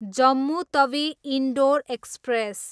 Jammu Tawi, Indore express